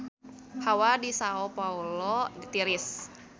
Hawa di Sao Paolo tiris